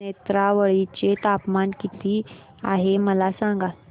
नेत्रावळी चे तापमान किती आहे मला सांगा